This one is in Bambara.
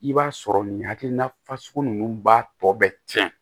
I b'a sɔrɔ nin hakilina fasugu ninnu b'a tɔ bɛ tiɲɛ